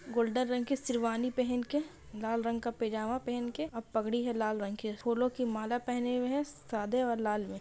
Golden रंग की शेरवानी पहन के लाल रंग का पैजामा पहन के और पगड़ी है लाल रंग की फूलों की माला पहने हुए हैं सादे और लाल में ।